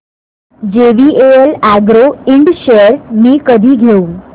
JVL agro ind shares मी कधी घेऊ